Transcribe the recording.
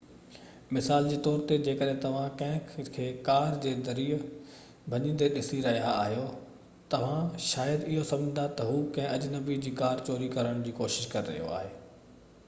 مثال جي طور تي جيڪڏهن توهان ڪنهن کي ڪار جي دري ڀڃيندي ڏسي رهيا آهيو توهان شايد اهو سمجهندا ته هو ڪنهن اجنبي جي ڪار چوري ڪرڻ جي ڪوشش ڪري رهيو آهي